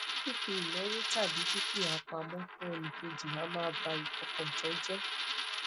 fifi inawo tabi dukia pamo fun enikeji a maa ba ifokantan je